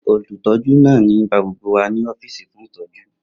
Olutọju naa nigbagbogbo wa ni ọfiisi fun itọju